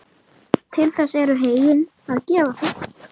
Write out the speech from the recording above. Til þess eru heyin að gefa þau.